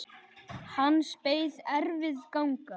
Hans beið erfið ganga.